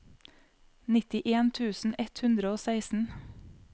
nittien tusen ett hundre og seksten